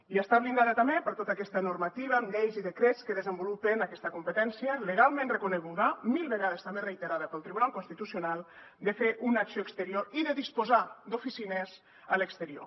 i està blindada també per tota aquesta normativa amb lleis i decrets que desenvolupen aquesta competència legalment reconeguda mil vegades també reiterada pel tribunal constitucional de fer una acció exterior i de disposar d’oficines a l’exterior